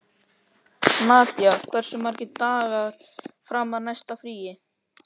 Nadia, hversu margir dagar fram að næsta fríi?